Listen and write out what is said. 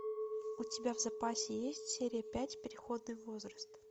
у тебя в запасе есть серия пять переходный возраст